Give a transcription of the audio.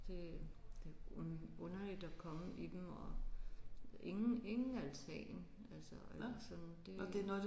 Det det er underligt at komme i dem og ingen ingen altan altså eller sådan det